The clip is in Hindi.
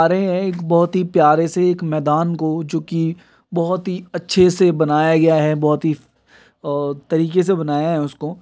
आ रहे है। एक बहुत ही प्यारे से एक मेदान को जो की बहोत अच्छे से बनाया गया है। बहुत ही और तरीके से बनाया है उसको।